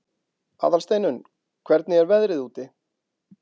Aðalsteinunn, hvernig er veðrið úti?